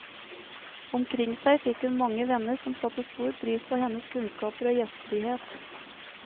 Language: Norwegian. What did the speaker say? Omkring seg fikk hun mange venner som satte stor pris på hennes kunnskaper og gjestfrihet.